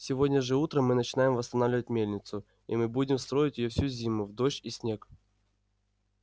сегодня же утром мы начинаем восстанавливать мельницу и мы будем строить её всю зиму в дождь и в снег